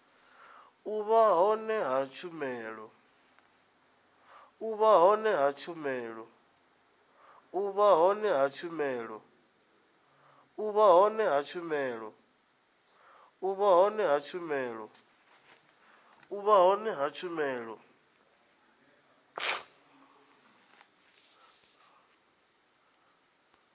u vha hone ha tshumelo